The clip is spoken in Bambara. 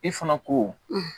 I fana ko